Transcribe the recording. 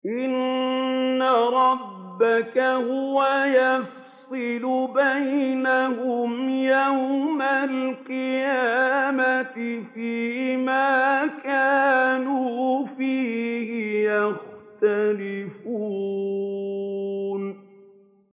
إِنَّ رَبَّكَ هُوَ يَفْصِلُ بَيْنَهُمْ يَوْمَ الْقِيَامَةِ فِيمَا كَانُوا فِيهِ يَخْتَلِفُونَ